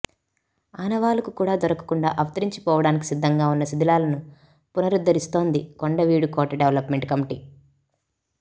ఆనవాలుకు కూడా దొరకకుండా అంతరించిపోవడానికి సిద్ధంగా ఉన్న శిథిలాలను పునరుద్ధరిస్తోంది కొండవీడు కోట డెవలప్మెంట్ కమిటీ